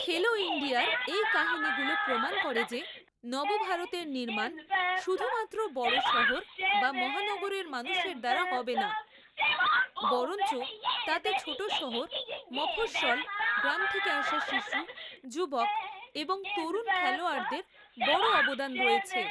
খেলো ইন্ডিয়ার এই কাহিনিগুলো প্রমাণ করে যে নবভারতের নির্মাণ শুধুমাত্র বড় শহর বা মহানগরের মানুষের দ্বারা হবে না, বরঞ্চ তাতে ছোটশহর, মফস্বল, গ্রাম থেকে আসা শিশু, যুবক এবংতরুণ খেলোয়াড়দের বড় অবদান রয়েছে।